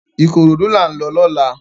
Ikorodu lá n lò lòlá